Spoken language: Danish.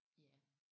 Ja